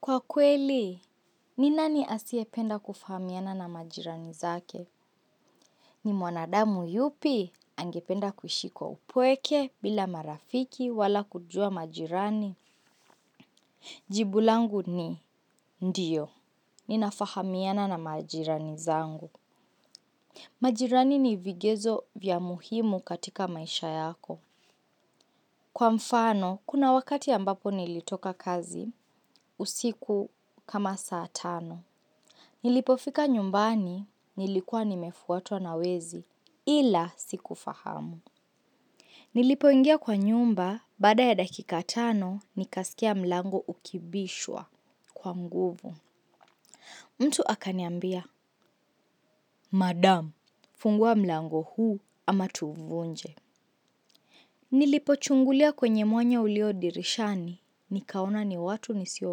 Kwa kweli, ni nani asiyependa kufahamiana na majirani zake? Ni mwanadamu yupi angependa kuishikio kwa upweke bila marafiki wala kujua majirani? Jibu langu ni, ndiyo, ninafahamiana na majirani zangu. Majirani ni vigezo vya muhimu katika maisha yako. Kwa mfano, kuna wakati ambapo nilitoka kazi, usiku kama saa tano. Nilipofika nyumbani, nilikuwa nimefuatwa na wezi, ila siku fahamu. Nilipoingia kwa nyumba, baada ya dakika tano, nikasikia mlango ukibishwa kwa nguvu. Mtu akaniambia, madam, fungua mlango huu ama tuvunje. Nilipochungulia kwenye mwanya ulio dirishani, nikaona ni watu nisio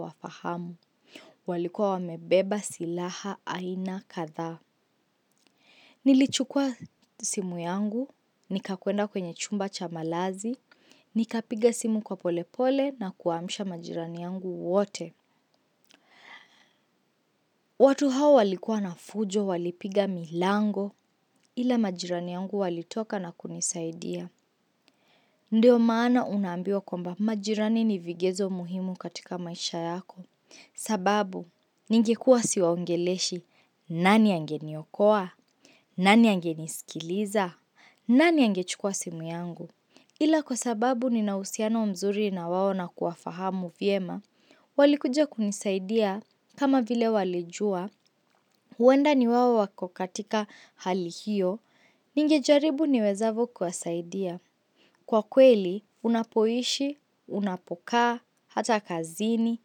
wafahamu. Walikuwa wamebeba silaha aina kadhaa. Nilichukua simu yangu nikakwenda kwenye chumba cha malazi nikapiga simu kwa polepole nakuwaamsha majirani wangu wote. Watu hao walikua na fujo walipiga milango ila majirani yangu walitoka na kunisaidia. Ndio maana unaambiwa kwamba majirani ni vigezo muhimu katika maisha yako. Sababu ningekuwa siwaongeleshi, nani angeniokoa? Nani angenisikiliza? Nani angechukuwa simu yangu? Ila kwa sababu ninauhusiano mzuri na wao na kuwafahamu vyema. Walikuja kunisaidia kama vile walijua. Huenda ni wao wako katika hali hiyo. Ninge jaribu niwezavo kuwasaidia. Kwa kweli, unapoishi, unapokaa, hata kazini,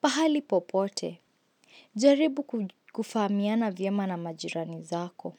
pahali popote. Jaribu kufahamiana vyema na majirani zako.